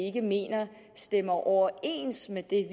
ikke mener stemmer overens med det